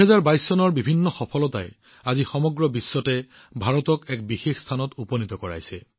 ২০২২ চনৰ বিভিন্ন সফলতাই আজি সমগ্ৰ বিশ্বতে ভাৰতৰ বাবে এক বিশেষ স্থানৰ সৃষ্টি কৰিছে